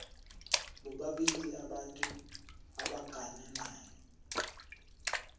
bobabili abantu abagananayo